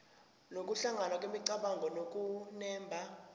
nokuhlangana kwemicabango nokunemba